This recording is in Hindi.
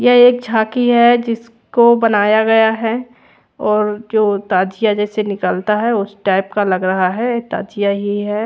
ये एक झाकी है जो जिसको बनाया गया है और जो ताथिया जैसे निकलता है उस टाइप का लग रहा है ताथिया ही है।